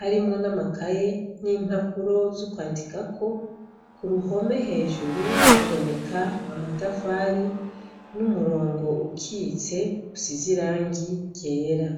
harimwo n'amakaye n'impapuro zo kwandikako. K'uruhome hejuru haboneka amatafari n'umurongo ukitse usize irangi ryera.